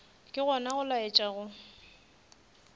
ke gona go laetša go